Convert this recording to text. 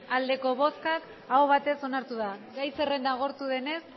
bai aho batez onartu da gai zerrenda agortu denez